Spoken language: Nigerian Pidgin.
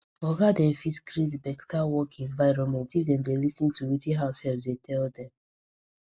oga dem fit create beta work environment if dem dey lis ten to wetin househelps dey tell dem